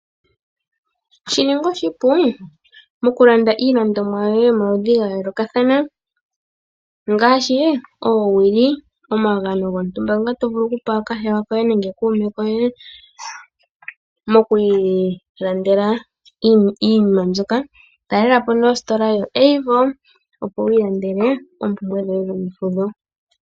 Shi ninga oshipu, moku landa iilandomwa yoye yomaludhi ga yoolokathana , ongaashi oowili, omagano gontumba ngoka to vulu oku pa kahewa koye nenge kuume koye, moku ilandela iinima mbyoka. Talela po ne ositola ndjoka yo AVO, opo wi ilandele oompumbwe dhoye dhomefudho.